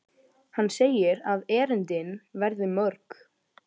Hann segir að erindin verði mörg.